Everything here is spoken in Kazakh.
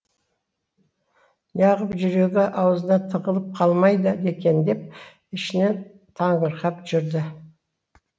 неағып жүрегі аузына тығылып қалмайды екен деп ішінен таңырқап жүрді